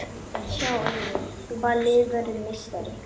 Þann tíma sem reisan tók hafði ásetningur minn aldrei bilað.